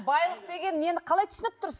байлық деген нені қалай түсініп тұрсыз